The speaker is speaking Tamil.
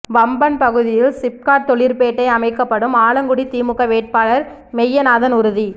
வம்பன் பகுதியில் சிப்காட் தொழிற்பேட்டை அமைக்கப்படும் ஆலங்குடி திமுக வேட்பாளர் மெய்யநாதன் உறுதி